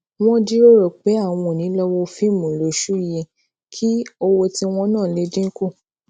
wón jiroro pé àwọn ò ní lọ wo fíìmù lóṣù yìí kí owó ti won na lè dín kù